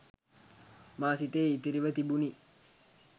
මා සිතේ ඉතිරිව තිබුණි